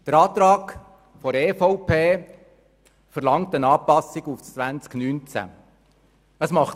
Der Antrag der EVP verlangt eine Anpassung auf das Jahr 2019.